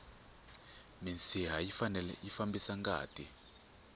minsiha yi fambisa ngati